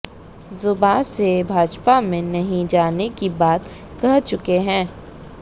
जुबान से भाजपा में नहीं जाने की बात कह चुके हैं